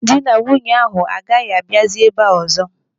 Ndị na nwunye ahụ agaghịkwa abịazi ebe ụzọ?